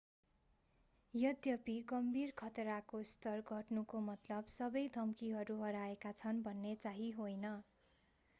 यद्यपि गम्भीर खतराको स्तर घट्नुको मतलब सबै धम्कीहरू हराएका छन् भन्ने चाहिँ होइन